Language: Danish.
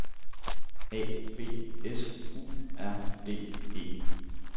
A B S U R D E